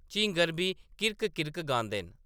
झींगर बी किर्क्क किर्क्क गांदे न ।